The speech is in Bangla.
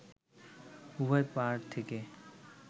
উভয় পাড় থেকে